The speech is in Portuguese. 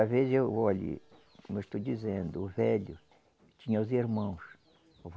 Às vezes eu, olhe, como eu estou dizendo, o velho tinha os irmãos.